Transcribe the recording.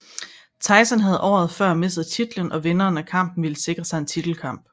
Tyson havde året før mistet titlen og vinderen af kampen ville sikre sig en titelkamp